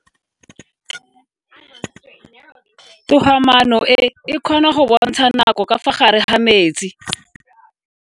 Toga-maano e, e kgona go bontsha nako ka fa gare ga metsi.